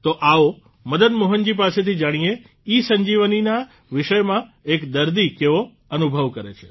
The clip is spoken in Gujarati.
તો આવો મદન મોહનજી પાસેથી જાણીએ ઇસંજીવનીના વિષયમાં એક દર્દી કેવો અનુભવ કરે છે